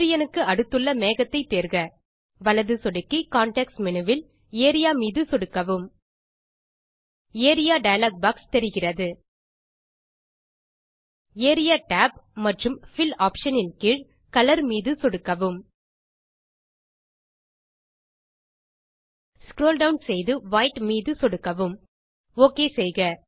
சூரியனுக்கு அடுத்துள்ள மேகத்தை தேர்க வலது சொடுக்கி கான்டெக்ஸ்ட் மேனு வில் ஏரியா மீது சொடுக்கவும் ஏரியா டயலாக் பாக்ஸ் தெரிகிறது ஏரியா tab மற்றும் பில் ஆப்ஷன் ன் கீழ் கலர் மீது சொடுக்கவும் ஸ்க்ரோல் டவுன் செய்து வைட் மீது சொடுக்கவும் ஒக் செய்க